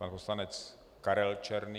Pan poslanec Karel Černý.